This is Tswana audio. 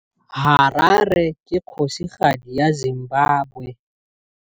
Harare ke kgosigadi ya Zimbabwe.